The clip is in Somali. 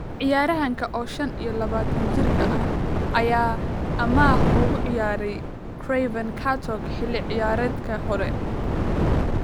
Ciyaaryahanka, oo shan iyo labatan jir ah, ayaa amaah ugu ciyaaray Craven Cottage xilli ciyaareedkii hore.